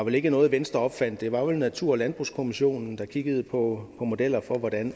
vel ikke noget venstre opfandt det var vel natur og landbrugskommissionen der kiggede på modeller for hvordan